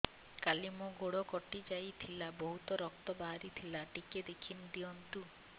କାଲି ମୋ ଗୋଡ଼ କଟି ଯାଇଥିଲା ବହୁତ ରକ୍ତ ବାହାରି ଥିଲା ଟିକେ ଦେଖି ଦିଅନ୍ତୁ